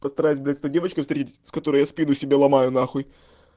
постараюсь блять с той девочкой встретиться с которой я спину себе ломаю нахуй